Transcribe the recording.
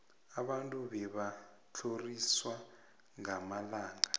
abantu bebatlhorisawa ngamalanga